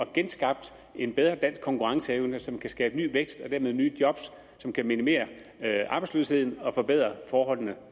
genskabt en bedre dansk konkurrenceevne som kan skabe ny vækst og dermed nye job som kan minimere arbejdsløsheden og forbedre forholdene